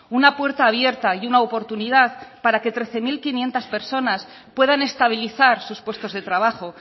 una puerta abierta y una oportunidad para que trece mil quinientos personas puedan estabilizar sus puestos de trabajo